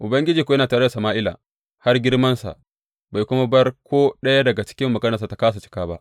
Ubangiji kuwa yana tare da Sama’ila har girmansa bai kuma bar ko ɗaya daga maganarsa ta kāsa cika ba.